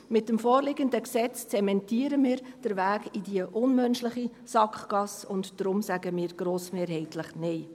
Mit dem vorliegenden Gesetz zementieren wir den Weg in diese unmenschliche Sackgasse, und deshalb sagen wir grossmehrheitlich Nein.